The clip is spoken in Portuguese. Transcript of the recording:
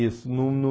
Isso no no.